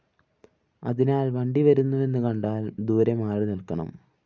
അതിനാല്‍ വണ്ടിവരുന്നുവെന്നു കണ്ടാല്‍ ദൂരെ മാറിനില്‍ക്കണം